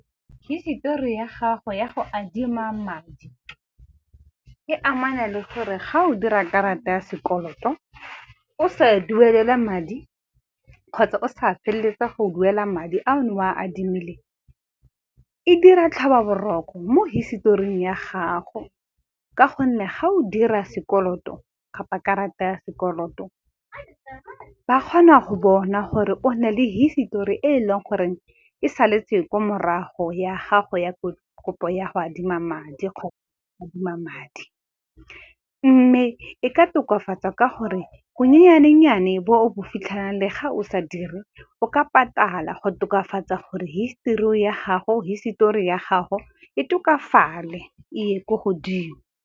Hisetori ya gago ya go adima madi, e amana le gore ga o dira karata ya sekoloto, o sa duelela madi kgotsa o sa feleletsa go duela madi a o ne o a adimile, e dira tlhobaboroko mo historing ya gago ka gonne ga o dira sekoloto kapa karata ya sekoloto ba kgona go bona gore o na le hisitori e leng gore e saletse kwa morago ya gago ya ko kopo ya go adima madi . Mme e ka tokafatsa ka gore bonyenyane-nnyane bo bo fitlhelang le ga o sa dire, o ka patala go tokafatsa gore hisetori ya gago e tokafale e ye ko godimo.